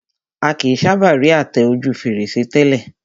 A kìí sábà rí àtẹ ojú fèrèsé tẹ́lẹ̀